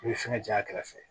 I bɛ fɛngɛ j'a kɛrɛfɛ